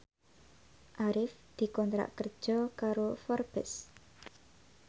Arif dikontrak kerja karo Forbes